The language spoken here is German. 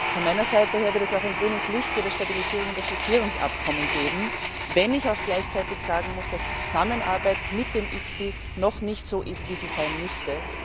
Von meiner Seite wird es auch grünes Licht für das Stabilisierungs und Assoziierungsabkommen geben, wenn ich auch gleichzeitig sagen muss, dass die Zusammenarbeit mit dem ICTY noch nicht so ist, wie sie sein müsste.